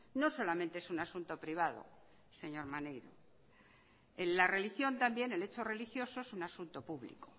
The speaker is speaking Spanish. no solamente es un asunto privado señor maneiro la religión también el hecho religioso es un asunto público